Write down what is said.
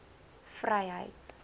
vryheid